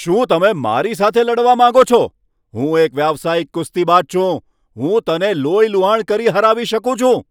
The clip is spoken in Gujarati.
શું તમે મારી સાથે લડવા માંગો છો? હું એક વ્યાવસાયિક કુસ્તીબાજ છું! હું તને લોહીલુહાણ કરી હરાવી શકું છું.